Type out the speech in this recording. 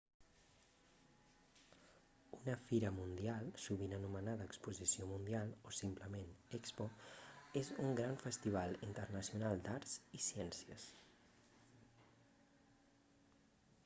una fira mundial sovint anomenada exposició mundial o simplement expo és un gran festival internacional d'arts i ciències